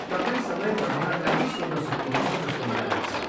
तपाईँ समय बढाउनका लागि सोध्न सक्नुहुन्छ जस्तो मलाई लाग्छ।